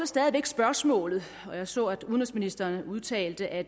stadigvæk spørgsmål jeg så at udenrigsministeren udtalte at